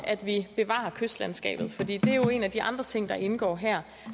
at bevare kystlandskabet for det er jo en af de andre ting der indgår her